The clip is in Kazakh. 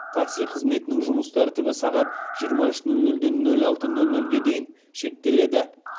такси қызметінің жұмыс тәртібі сағат жиырма үш нөл нөлден нөл алты нөл нөлге дейін шектеледі